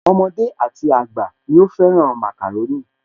Ọmọdé àti àgbà ni ó fẹ́ràn màkàrónì